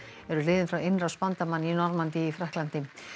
eru liðin frá innrás bandamanna í Normandí í Frakklandi